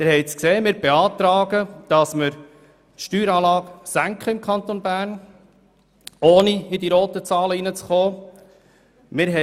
Sie haben es gesehen: Wir beantragen, dass man die Steueranlagen im Kanton Bern senkt, ohne in die roten Zahlen hineinzugeraten.